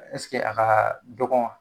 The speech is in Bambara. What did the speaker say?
a ka dɔgɔn wa?